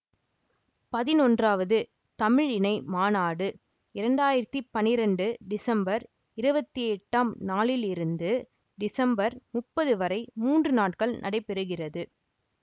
பதினொன்றாவது தமிழ் இணைய மாநாடு இரண்டு ஆயிரத்தி பன்னிரெண்டு டிசம்பர் இருபத்தி எட்டாம் நாளிலிருந்து டிசம்பர் முப்பது வரை மூன்று நாட்கள் நடைபெறுகிறது